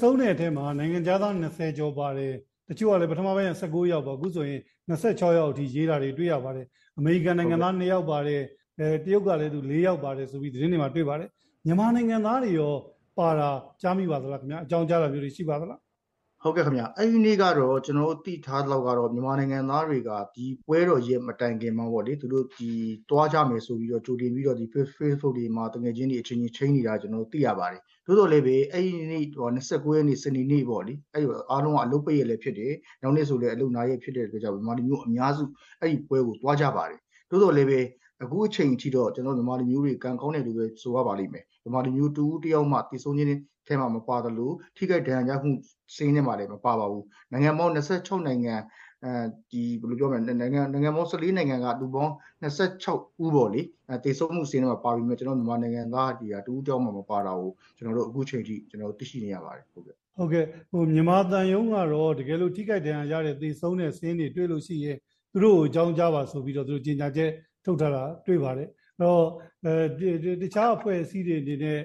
ဆုံးတဲ့ထဲမှာ နိုင်ငံခြားသား ၂၀ ကျော်ပါတယ်၊ တချို့ကလည်း ပထမပိုင်းက ၁၉ ယောက်ပေါ့။ အခုဆိုရင် ၂၆ ယောက်အထိ ရေးတာတွေ တွေ့ရပါတယ်။ အမေရိကန်နိုင်ငံသား နှစ်ယောက်ပါတယ်။ တရုတ်ကလည်း လေးယောက်ပါတယ်ဆိုပြီး သတင်းတွေမှာ တွေ့ပါတယ်။ မြန်မာနိုင်ငံသားတွေရော ပါတာ ကြားမိပါသလားခင်ဗျ။ အကြောင်းကြားတာမျိုးတွေ ရှိပါသလား။ ဟုတ်ကဲ့ခင်ဗျ။ အဲဒီနေ့က ကျနော်တို့သိထားသလောက်ကတော့ မြန်မာနိုင်ငံသားတွေက ဒီပွဲတော်ရက်မတိုင်ခင်မှာ သွားကြမယ်ဆိုပြီး ကြိုတင်ပြီးတော့ ဖေ့စ်ဘုတ်ခ်တွေမှာ သူငယ်ချင်းတွေ အချင်းချင်း ချိန်းနေကြတာ သိရပါတယ်။ သို့သော်လည်းပဲ အဲဒီနေ့ ၂၉ ရက်၊ စနေနေ့ပေါ့လေ- အားလုံးက အလုပ်ပိတ်ရက်လည်းဖြစ်တယ်၊ နောက်နေ့ဆိုလည်း အလုပ်နားရက်ဖြစ်တဲ့အတွက်ကြောင့် မြန်မာလူမျိုးအများစု အဲဒီပွဲကိုသွားကြပါတယ်။ သို့သော်လည်းပဲ အခုအချိန်ထိတော့ မြန်မာလူမျိုးတွေ ကံကောင်းတယ်လို့ပဲ ဆိုရပါလိမ့်မယ်။ ဗမာလူမျိုးတဦးတယောက်မှ သေဆုံးတဲ့ထဲမှာ မပါသလို ထိခိုက်ဒဏ်ရာရမှုစာရင်းထဲမှာလည်း မပါပါဘူး။...နိုင်ငံပေါင်း ၁၄ နိုင်ငံ၊ လူပေါင်း ၂၆ ဦးပေါ့လေ-သေဆုံးမှုစာရင်းထဲမှာပါပေမယ့် ကျနော်တို့မြန်မာနိုင်ငံသားတွေက တဦးတယောက်မှမပါတာကို အခုချိန်ထိ သိရှိနေရပါတယ်။ ဟုတ်ကဲ့၊ မြန်မာသံရုံးကတော့ တကယ်လို့ ထိခိုက်ဒဏ်ရာရတဲ့၊ သေဆုံးတဲ့စာရင်းတွေတွေ့လို့ရှိရင် သူတို့ကို အကြောင်းကြားပါ-ဆိုပြီးတော့ ကြေညာချက်ထုတ်ထားတာတွေ့ပါတယ်။ အဲဒီတော့ တခြားအဖွဲ့အစည်းတွေအနေနဲ့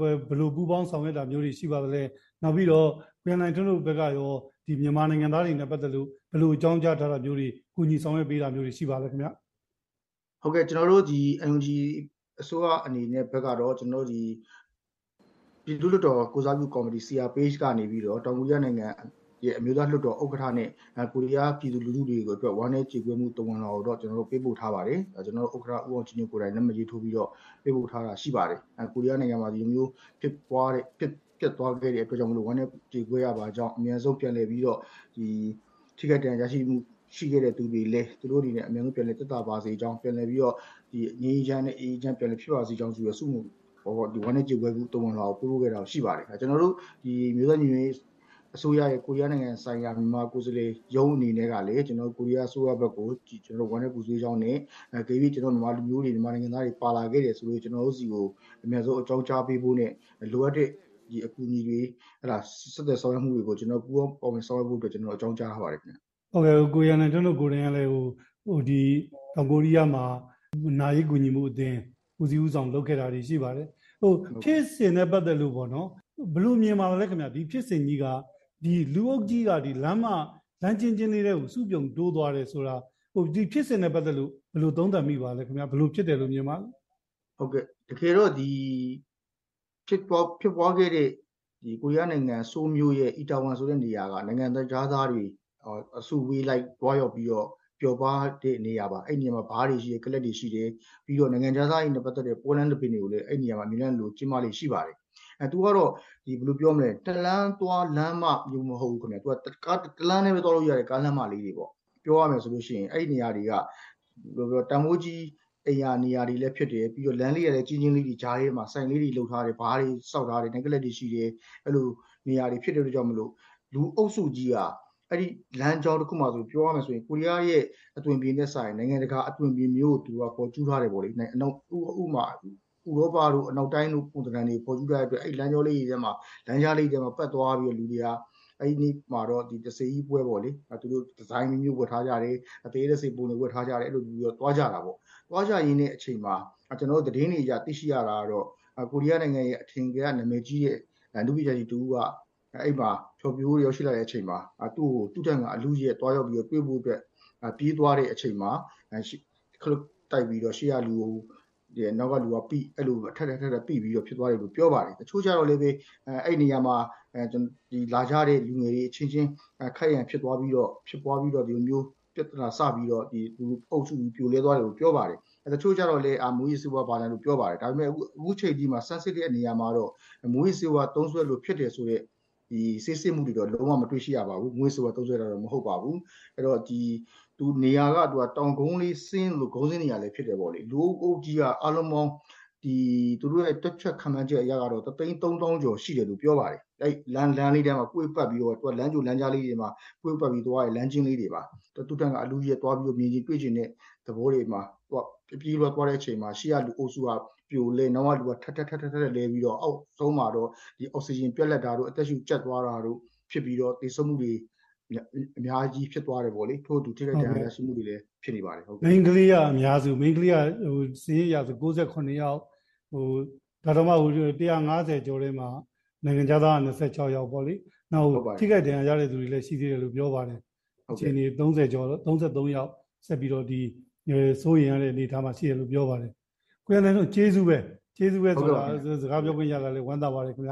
ဘယ်လိုပူးပေါင်းဆောင်ရွက်တာတွေ ရှိပါသလဲ၊ နောက်ပြီးတော့ ကိုရန်နိုင်ထွန်းတို့ဘက်ကရော မြန်မာနိုင်ငံသားတွေနဲ့ပတ်သက်လို့ ဘယ်လို အကြောင်းကြားထားတာမျိုးတွေ၊ ကူညီဆောင်ရွက်ပေးတာမျိုးတွေ ရှိပါသလဲခင်ဗျ။ ဟုတ်ကဲ့၊ ကျနော်တို့ NUG အစိုးရအနေနဲ့ဘက်ကတော့ ပြည်သူ့လွှတ်တော်ကိုယ်စားပြုကော်မတီ CRPH ကနေပြီးတော့ တောင်ကိုရီးယားနိုင်ငံရဲ့ အမျိုးသားလွှတ်တော်ဥက္ကဋ္ဌနဲ့ ကိုရီးယားပြည်သူလူထုတွေအတွက် ဝမ်းနည်းကြေကွဲမှုသဝဏ်လွှာကိုတော့ ပေးပို့ထားပါတယ်။ ဒါ ကျနော်တို့ဥက္ကဋ္ဌ ဦးအောင်ကြည်ညွန့်ကိုယ်တိုင် လက်မှတ်ရေးထိုးပြီးတော့ ပေးပို့ထားတာရှိပါတယ်။ ကိုရီးယားနိုင်ငံမှာ ဒီလိုမျိုး ဖြစ်ပျက်သွားခဲ့တဲ့အတွက်ကြောင့် ဝမ်းနည်းကြေကွဲရပါကြောင်း၊ အမြန်ဆုံးပြန်လည်ပြီးတော့ ထိခိုက်ဒဏ်ရာရရှိမှုရှိခဲ့တဲ့သူတွေလည်း သူတို့အနေနဲ့ အမြန်ဆုံး ပြန်လည်သက်သာပါစေကြောင်း ပြန်လည်ပြီးတော့ ငြိမ်းငြိမ်းချမ်းချမ်းနဲ့အေးအေးချမ်းချမ်းနဲ့ ပြန်လည်ဖြစ်ပါစေကြောင်းဆိုပြီးတော့ ဝမ်းနည်းကြေကွဲမှုသဝဏ်လွှာကို ပေးပို့ခဲ့ပါတယ်။ ကျနော်တို့ အမျိုးသားညီညွတ်ရေးအစိုးရရဲ့ ကိုရီးယားနိုင်ငံဆိုင်ရာ မြန်မာကိုယ်စားလှယ်ရုံးအနေနဲ့ကလည်း ကိုရီးယားအစိုးရဘက်ကို ဝမ်းနည်းပူဆွေးကြောင်းနဲ့ အကယ်၍ ကျနော်တို့မြန်မာလူမျိုးတွေ၊ မြန်မာနိုင်ငံသားတွေ ပါလာခဲ့တယ်ဆိုရင် ကျနော်တို့ဆီကို အမြန်ဆုံးအကြောင်းကြားပေးဖို့နဲ့ လိုအပ်တဲ့အကူအညီတွေ...ဆက်သွယ်ဆောင်ရွက်မှုတွေကို ကျနော်တို့ ပူးပေါင်းပါဝင်ဆောင်ရွက်ဖို့အတွက် အကြောင်းကြားထားပါတယ်ခင်ဗျ။ ဟုတ်ကဲ့၊ ကိုရန်နိုင်ထွန်းတို့ကိုယ်တိုင်ကလည်း တောင်ကိုရီးယားမှာ နာရေးကူညီမှုအသင်း ဦးစီးဦးဆောင် လုပ်ခဲ့တာတွေရှိပါတယ်။ ဖြစ်စဉ်နဲ့ပတ်သက်လို့ ဘယ်လိုမြင်ပါသလဲခင်ဗျ၊ လူအုပ်ကြီးက လမ်းကျဉ်းကျဉ်းလေးထဲကို စုပြုံတိုးသွားတယ်ဆိုတာ ဒီဖြစ်စဉ်နဲ့ပတ်သက်လို့ ဘယ်လို သုံးသပ်မိပါသလဲခင်ဗျ။ ဘယ်လို ဖြစ်တယ်လို့ မြင်ပါသလဲ။ ဟုတ်ကဲ့၊ တကယ်တော့ ဒီဖြစ်ပွါးခဲ့တဲ့ ကိုရီးယားနိုင်ငံ၊ ဆိုးလ်မြို့ရဲ့အီတာဝန်ဆိုတဲ့နေရာက နိုင်ငံခြားသားတွေ အစုအဝေးလိုက် သွားရောက်ပြီးတော့ ပျော်ပါးတဲ့နေရာပါ။ အဲဒီနေရာမှာ ဘားတွေရှိတယ်၊ ကလပ်တွေရှိတယ်။ ပြီးတော့ နိုင်ငံခြားသားတွေနဲ့ပတ်သက်တဲ့ ပွဲလမ်းသဘင်တွေကိုလည်း အဲဒီနေရာမှာ အမြဲတမ်းလိုလို ကျင်းပလေ့ရှိပါတယ်။ အဲဒီ - သူကတော့ တလမ်းသွားလမ်းမမျိုး မဟုတ်ဘူးခင်ဗျ-ဘယ်လိုပြောမလဲ၊ တလမ်းတည်းပဲသွားလို့ရတဲ့ ကားလမ်းမလေးတွေပေါ့။ ပြောရမယ်ဆိုလို့ရှိရင် အဲဒီနေရာတွေက တန်ဖိုးကြီးအိမ်ရာနေရာတွေလည်းဖြစ်တယ်။ ပြီးတော့ လမ်းလေးတွေကလည်း ကျဉ်းကျဉ်းလေးတွေ-ကြားထဲမှာ ဆိုင်လေးတွေလုပ်ထားတယ်။ ဘားတွေဆောက်ထားတယ်။ နိုက်ကလပ်တွေရှိတယ်။ အဲလိုနေရာတွေဖြစ်တဲ့အတွက်ကြောင့်မို့လို့ လူအုပ်စုကြီးက အဲဒီလမ်းကြောတခုမှာဆို ပြောရမယ်ဆို ကိုရီးယားရဲ့အသွင်အပြင်နဲ့စာရင် နိုင်ငံတကာအသွင်အပြင်မျိုးကို ဖော်ကျူးထားတယ်ပေါ့လေ။ ဥပမာ-ဥရောပတို့၊ အနောက်တိုင်းတို့ ပုံသဏ္ဍန်တွေဖော်ကျူးထားတဲ့အတွက် အဲဒီလမ်းကြောလေးတွေထဲမှာ လမ်းကြားလေးတွေထဲမှာပတ်သွားပြီးတော့ လူတွေက အဲဒီမှာတော့ တစ္ဆေကြီးပွဲပေါ့လေ- ဒီဇိုင်းအမျိုးမျိုး ဝတ်ထားကြတယ်၊ သရဲ တစ္ဆေပုံဝတ်ထားကြတယ်-အဲလိုမျိုးသွားကြတာပေါ့။....သွားကြတဲ့အချိန်မှာ ကျနော်တို့သတင်းတွေအရ သိရှိရတာကတော့ ကိုရီးယားနိုင်ငံရဲ့အထင်ကရ နာမည်ကြီးတဲ့ အနုပညာရှင်တဦးက အဲဒီမှာ ဖျော်ဖြေဖို့ရောက်ရှိလာတဲ့အချိန်မှာ သူ့ကို သူ့ထက်ငါအလုအယက်သွားရောက်ပြီးတော့ တွေ့ဖို့ ပြေးသွားတဲ့အချိန်မှာ ခလုတ်တိုက်ပြီးတော့ ရှေ့ကလူကို နောက်ကလူကပိ-အဲလို ထပ်ထပ်..ထပ်ထပ် ပိသွားတယ်လို့ ပြောပါတယ်။....တချို့ကျတော့လည်းပဲ အဲဒီနေရာမှာလာကြတဲ့လူငယ်တွေအချင်းချင်း ခိုက်ရန်ဖြစ်ပွါးပြီးတော့ ပြဿနာစပြီးတော့ အုပ်စုကြီး ပြိုလဲသွားတယ်လို့ ပြောပါတယ်။...တချို့ကျတော့လည်း မူးယစ်ဆေးဝါး ဘာ...ညာ လို့ ပြောပါတယ်။ ဒါပေမယ့် အခုချိန်အထိမှာ ဆန်းစစ်တဲ့နေရာမှာတော့ မူးယစ်ဆေးဝါးသုံးစွဲလို့ဖြစ်တယ်ဆိုတဲ့ ဆေးစစ်မှုတွေတော့ လုံးဝ မတွေ့ရှိရပါဘူး၊ မူးယစ်ဆေးဝါး သုံးစွဲတာတော့ မဟုတ်ပါဘူး။ နေရာက တောင်ကုန်းလေး ကုန်းဆင်းနေရာလည်းဖြစ်တယ်ပေါ့လေ- လူအုပ်ကြီးက သူတို့ရဲ့ တွက်ချက်ခန့်မှန်းချက်အရကတော့ တသိန်း သုံးသောင်းကျော် ရှိတယ်လို့ပြောပါတယ်။ အဲဒီလမ်းလေးထဲမှာ ကွေ့ပတ်ပြီးတော့ လမ်းကြိုလမ်းကြားလေးတွေမှာ ကွေ့ပတ်ပြီးတော့ သွားတဲ့ လမ်းကျဉ်းလေးတွေပါ။ သူ့ထက်ငါ အလုအယက်သွားပြီးတော့ မြင်ချင်တွေ့ချင်တဲ့သဘောတွေမှာ အပြေးအလွှားသွားတဲ့အချိန် ရှေ့ကလူအုပ်စုက ပြိုလဲ၊ နောက်ကလူက ထပ်ထပ်..ထပ်ထပ်..လဲပြီးတော့ အောက်ဆုံးမှာတော့ အောက်စီဂျင်ပြတ်တာတို့၊ အသက်ရှူကြပ်တာတို့ဖြစ်ပြီး သေဆုံးမှုတွေအများကြီးဖြစ်သွားတယ်ပေါ့လေ။ ထို့အတူ ထိခိုက်ဒဏ်ရာရရှိမှုတွေလည်း ဖြစ်ခဲ့ပါတယ်။ မိန်းကလေးက အများစု- မိန်းကလေးက စာရင်းအရဆို ၉၇ ယောက်၊ ဒါတောင်မှ ၁၅၀ ကျော်ထဲမှာ နိုင်ငံခြားသားက ၂၆ ယောက်ပေါ့လေ၊ နောက် ထိခိုက်ဒဏ်ရာရတဲ့သူတွေလည်း ရှိသေးတယ်လို့ ပြောပါတယ်။ ၃၀ ကျော်၊ ၃၃ ယောက် စိုးရိမ်ရတဲ့အနေအထားမှာလို့ ပြောပါတယ်။ ကိုရန်နိုင်ထွန်း ကျေးဇူးပဲ။ စကားပြောခွင့်ရတာလည်း ဝမ်းသာပါတယ်ခင်ဗျ